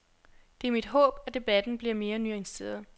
Det er mit håb, at debatten bliver mere nuanceret.